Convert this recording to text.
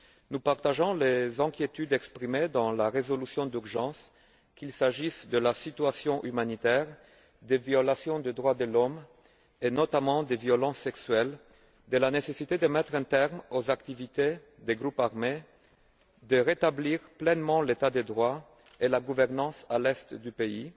Nous partageons les inquiétudes exprimées dans la résolution d'urgence, qu'il s'agisse de la situation humanitaire, des violations des droits de l'homme, et notamment des violences sexuelles, de la nécessité de mettre un terme aux activités des groupes armés, de rétablir pleinement l'état de droit et la gouvernance dans l'Est du pays,